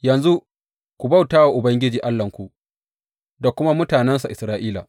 Yanzu ku bauta wa Ubangiji Allahnku da kuma mutanensa Isra’ila.